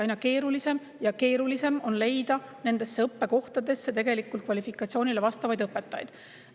Aina keerulisem ja keerulisem on leida nendesse õppekohtadesse kvalifikatsiooniga õpetajaid.